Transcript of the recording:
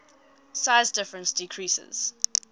size difference decreases